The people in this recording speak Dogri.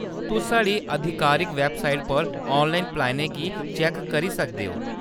तुस साढ़ी आधिकारिक वैबसाइट पर ऑनलाइन प्लानें गी चैक्क करी सकदे ओ।